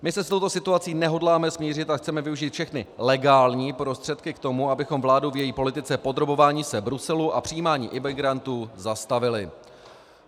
My se s touto situací nehodláme smířit a chceme využít všechny legální prostředky k tomu, abychom vládu v její politice podrobování se Bruselu a přijímání imigrantů zastavili.